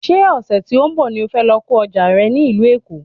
Ṣé ọ̀sẹ̀ tí ó ń bọ̀ ni o fẹ́ lọ ko ọjà rẹ ní ìlú Èkó